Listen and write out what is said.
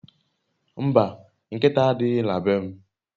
Mba, nkita adighi na be m